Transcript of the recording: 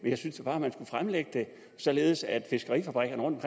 jeg synes da bare man skulle fremlægge det således at fiskerifabrikkerne